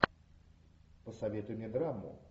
посоветуй мне драму